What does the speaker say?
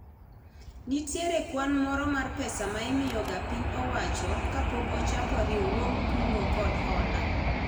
Nitiere kwan moro mar pesa ma imiyo ga piny owacho kapok ochak riwruog kungo kod hola